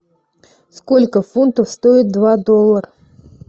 сколько фунтов стоит два доллар